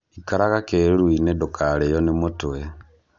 Ikarara kĩruru-inĩ ndũkarĩo nĩ mũtwe